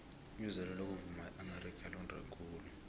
ibizelo lokuvuma eamerika londe khulu